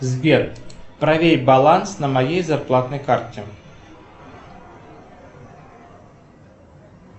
сбер проверь баланс на моей зарплатной карте